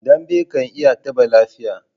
Dambe ka iya taɓa lafiya.